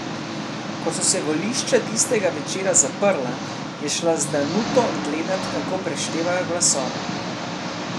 Ko so se volišča tistega večera zaprla, je šla z Danuto gledat, kako preštevajo glasove.